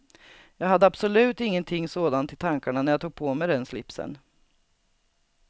Jag hade absolut ingenting sådant i tankarna när jag tog på mig den slipsen.